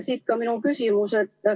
Siit ka minu küsimus.